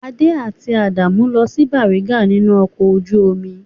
Adé àti Àánú ń lọ sí Bàrígà nínú ọkọ̀ ojú-omi.